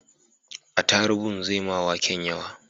Atarubun zai ma waken yawa